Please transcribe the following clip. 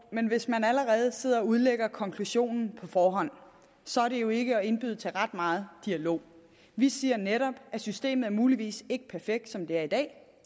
men hvis man allerede sidder og udlægger konklusionen på forhånd så er det jo ikke at indbyde til ret meget dialog vi siger netop at systemet muligvis ikke er perfekt som det er i dag